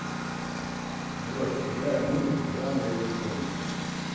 джой играй музыку в жанре электроника